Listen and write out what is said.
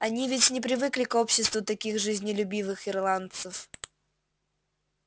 они ведь не привыкли к обществу таких жизнелюбивых ирландцев